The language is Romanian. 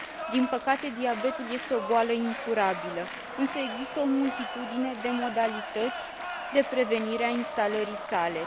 Din păcate, diabetul este o boală incurabilă, însă există o multitudine de modalități de prevenire a instalării sale.